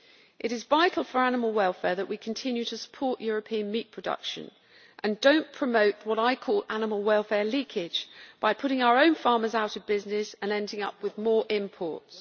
It is vital for animal welfare that we continue to support European meat production and do not promote what I call ʽanimal welfare leakage' by putting our own farmers out of business and ending up with more imports.